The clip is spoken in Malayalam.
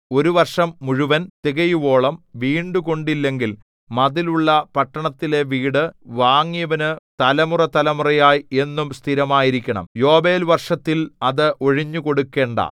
ഒരു വർഷം മുഴുവൻ തികയുവോളം വീണ്ടുകൊണ്ടില്ലെങ്കിൽ മതിലുള്ള പട്ടണത്തിലെ വീട് വാങ്ങിയവനു തലമുറതലമുറയായി എന്നും സ്ഥിരമായിരിക്കണം യോബേൽ വർഷത്തിൽ അത് ഒഴിഞ്ഞുകൊടുക്കണ്ടാ